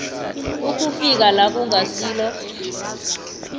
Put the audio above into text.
ukufika la kungasilo